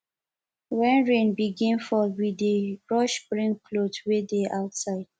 wen rain begin fall we dey rush bring clothes wey dey outside